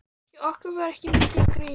Hjá okkur var ekki mikið um grín.